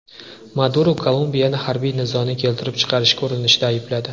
Maduro Kolumbiyani harbiy nizoni keltirib chiqarishga urinishda aybladi.